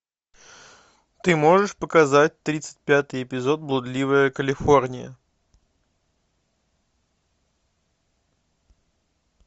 ты можешь показать тридцать пятый эпизод блудливая калифорния